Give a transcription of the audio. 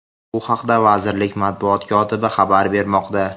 Bu haqda vazirlik matbuot kotibi xabar bermoqda.